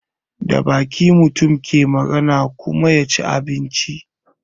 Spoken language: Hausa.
Da baki mutum ke magana ya kuma ci abinci.